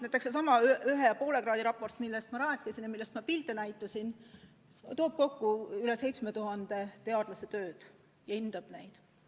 Näiteks seesama 1,5 kraadi käsitlev raport, millest ma rääkisin ja millest ma pilte näitasin, võtab kokku rohkem kui 7000 teadlase töö ja hindab neid.